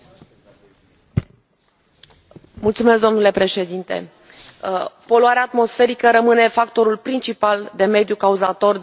Domnule președinte, poluarea atmosferică rămâne factorul principal de mediu cauzator de boli în Uniunea Europeană.